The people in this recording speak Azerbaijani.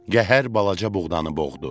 Qəhər balaca buğdanı boğdu.